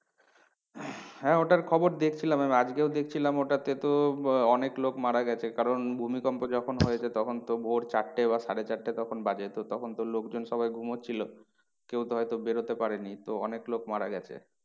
হ্যাঁ ওটার খবর দেখছিলাম আমি আজকে দেখছিলাম ওটাতে তো আহ অনেক লোক মারা গেছে কারণ ভূমিকম্প যখন হয়েছে তখন তো ভোর চারটে বা সাড়ে চারটে তখন বাজে তো তখন তো লোকজন সবাই ঘুমাচ্ছিলো। কেউ তো হয়তো বেরোতে পারেনি। তো অনেক লোক মারা গেছে।